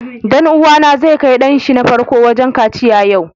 Dan uwa na zai kai dan shi na farko wajen kaciya yau.